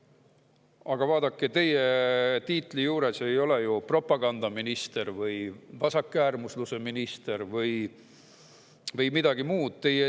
Aga vaadake, teie tiitel ei ole ju propagandaminister või vasakäärmusluse minister või midagi muud.